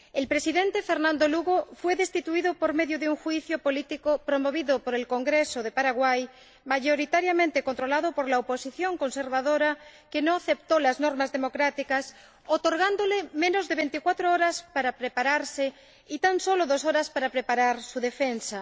El Presidente, Fernando Lugo, fue destituido por medio de un juicio político promovido por el Congreso de Paraguay, mayoritariamente controlado por la oposición conservadora, que no aceptó las normas democráticas, otorgándole menos de veinticuatro horas para prepararse y tan solo dos horas para preparar su defensa.